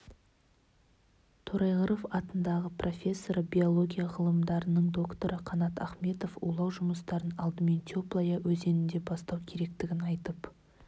торайғыров атындағы профессоры биология ғылымдарының докторы қанат ахметов улау жұмыстарын алдымен теплая өзенінде бастау керектігін айтып